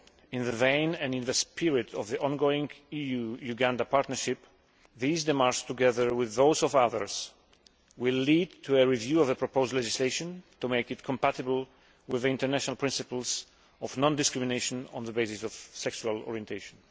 in the vein and in the spirit of the ongoing EU Uganda partnership, these démarches, together with those of others, will lead to a review of the proposed legislation to make it compatible with international principles of non discrimination on the basis of sexual orientation.